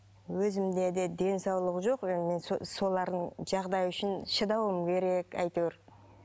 өзімде де денсаулық жоқ солардың жағдайы үшін шыдауым керек әйтеуір